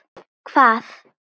Hvað?